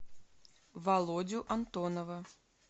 володю антонова